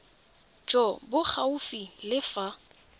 jo bo gaufi le fa